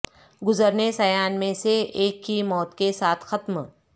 گزرنے سیان میں سے ایک کی موت کے ساتھ ختم